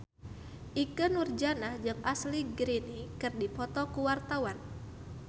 Ikke Nurjanah jeung Ashley Greene keur dipoto ku wartawan